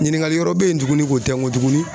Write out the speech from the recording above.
Ɲininkali wɛrɛ bɛ yen tuguni ko tɛ n ko tuguni